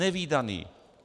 Nevídaný!